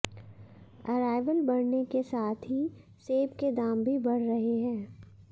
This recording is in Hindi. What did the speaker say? अराइवल बढ़ने के साथ ही सेब के दाम भी बढ़ रहे हैं